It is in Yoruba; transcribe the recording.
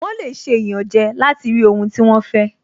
Wọ́n lè ṣe ìyànjẹ láti rí ohun tí wọ́n fẹ́